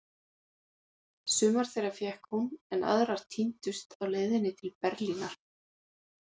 Sumar þeirra fékk hún, en aðrar týndust á leiðinni til Berlínar.